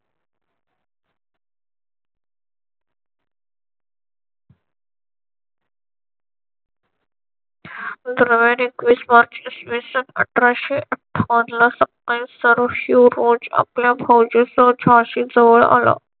नव्याने एकवीस मार्च इसवीसन अठराशे अठ्ठावन्न ला सरोज शिवरोज आपल्या फौजेसह झाशी जवळ आला.